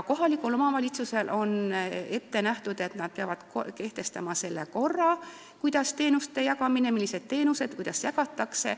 Kohalik omavalitsus peab kehtestama korra, millised on teenused ja kuidas neid jagatakse.